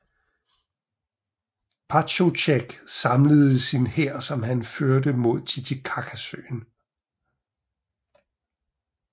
Pachacutec samlede sin hær som han førte mod Titicacasøen